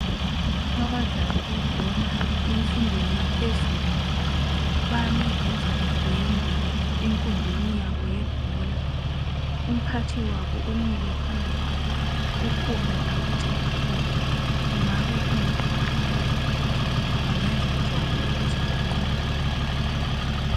Abadlali bebhola emfundweni yaphezulu bame benza udwende enkundleni yabo yebhola. Umphathi wabo umile phambi kwabo, kukhona abatshela khona. Kungabe kuyikubaluleka ukuthi bengenza njani ukuze banqobe.